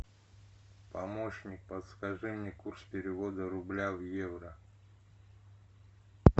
помощник подскажи мне курс перевода рубля в евро